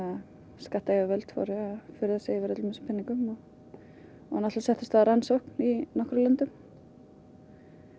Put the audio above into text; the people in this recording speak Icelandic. skattayfirvöld fóru að furða sig á öllum þessum peningum og náttúrulega settu af stað rannsókn í einhverjum löndum